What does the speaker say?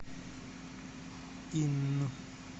инн